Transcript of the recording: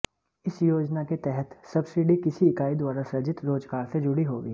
इस योजना के तहत सब्सिडी किसी इकाई द्वारा सृजित रोजगार से जुड़ी होगी